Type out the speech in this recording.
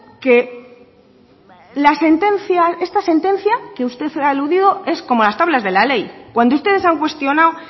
que la sentencia esta sentencia que usted ha aludido es como las tablas de la ley cuando ustedes han cuestionado